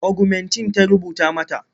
Ogumentin ta rubuta mata.